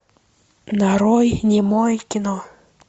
нарой немое кино